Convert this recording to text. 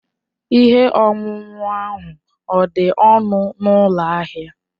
Ihe ọṅụṅụ ahụ ọ̀ dị ọnụ n'ụlọ ahịa?